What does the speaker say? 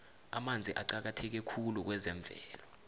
amanzi aqakatheke khulu kwezemvelo